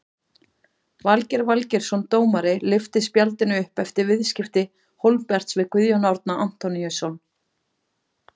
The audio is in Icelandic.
Valgeir Valgeirsson dómari lyfti spjaldinu upp eftir viðskipti Hólmberts við Guðjón Árna Antoníusson.